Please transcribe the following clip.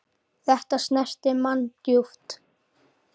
Þetta snerti mann djúpt.